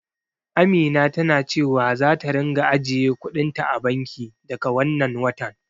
Amina tana cewa zata ringa ajiye kuɗin ta a banki, daga wannan watan.